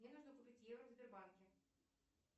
мне нужно купить евро в сбербанке